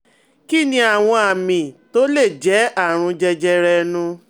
Kí ni àwọn àmì tó lè jẹ́ àrùn jẹjẹrẹ ẹnu?